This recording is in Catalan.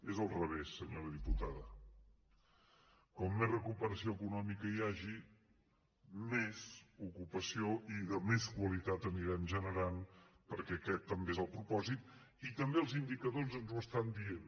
és al revés senyora diputada com més recuperació econòmica hi hagi més ocupació i de més qualitat n’anirem generant perquè aquest també és el propòsit i també els indicadors ens ho estan dient